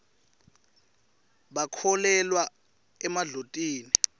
bakholelwa emadlotini